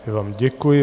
Já vám děkuji.